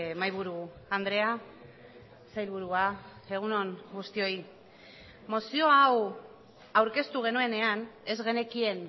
mahaiburu andrea sailburua egun on guztioi mozio hau aurkeztu genuenean ez genekien